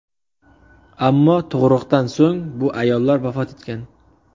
Ammo tug‘ruqdan so‘ng bu ayollar vafot etgan.